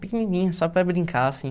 Pequenininha, só para brincar, assim.